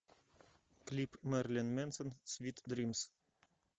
клип мэрилин мэнсон свит дримс